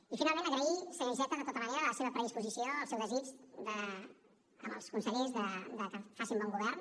i finalment agrair senyor iceta de tota manera la seva predisposició el seu desig amb els consellers de que facin bon govern